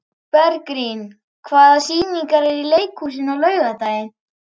Bergrín, hvaða sýningar eru í leikhúsinu á laugardaginn?